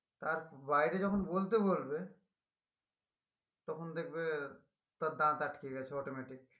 তার বাইরে যখন বলতে বলবে তখন দেখবে তার দাঁত আটকে গেছে automatically